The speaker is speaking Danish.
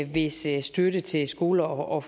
hvis det er støtte til skoler og